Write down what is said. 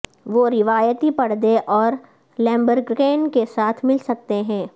وہ روایتی پردے اور لیمبریکن کے ساتھ مل سکتے ہیں